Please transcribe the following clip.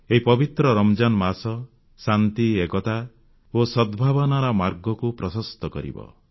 ଏହି ପବିତ୍ର ରମଜାନ୍ ମାସ ଶାନ୍ତି ଏକତା ଓ ସଦ୍ଭାବନାର ମାର୍ଗକୁ ପ୍ରଶସ୍ତ କରିବ